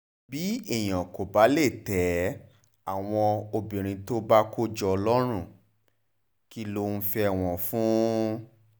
bí èèyàn kò bá lè tẹ́ àwọn obìnrin tó bá bá kó jọ lọ́rùn kí ló ń fẹ́ wọn fún